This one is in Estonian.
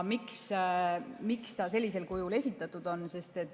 Miks ta sellisel kujul esitatud on?